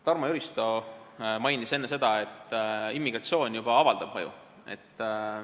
Tarmo Jüristo mainis enne, et immigratsioon juba avaldab mõju.